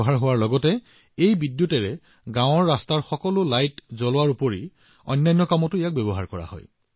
ইয়াৰ দ্বাৰা উৎপাদিত বিদ্যুত পথৰ লাইট আৰু গাওঁখনৰ অন্যান্য প্ৰয়োজনীয়তাত ব্যৱহাৰ কৰা হৈছে